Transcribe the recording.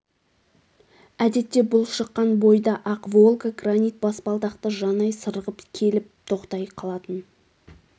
әдетте бұл шыққан бойда ақ волга гранит баспалдақты жанай сырғып келіп тоқтай қалатын